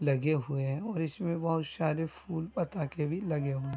लगे हुए है और इसमे बहुत सारे फूल पताके भी लगे हुए --